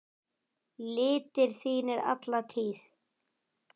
litir þínir alla tíð.